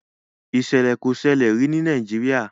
Ìṣẹ̀lẹ̀ kò sẹlẹ̀ rí ní Nàìjíríà